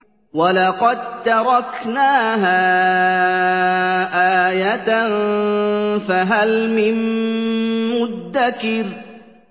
وَلَقَد تَّرَكْنَاهَا آيَةً فَهَلْ مِن مُّدَّكِرٍ